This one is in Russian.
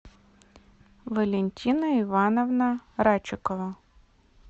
валентина ивановна рачекова